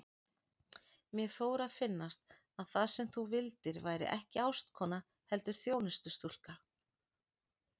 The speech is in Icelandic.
Mér fór að finnast að það sem þú vildir væri ekki ástkona heldur þjónustustúlka.